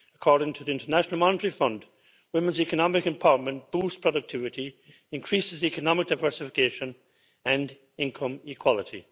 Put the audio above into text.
According to the International Monetary Fund, women's economic empowerment boosts productivity, and increases economic diversification and income equality.